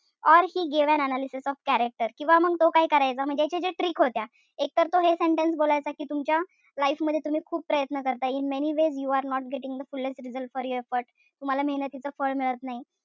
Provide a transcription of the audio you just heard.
Or he gave an analysis of character किंवा मग तो काय करायचा म्हणजे त्याचे जे tricks होत्या. एक तर तो हे senetence बोलायचं कि तुमच्या life मध्ये तुम्ही खूप प्रयत्न करताय. in many ways you are not getting the fullest result for your efforts. तुम्हाला मेहनतीच फळ मिळत नाही.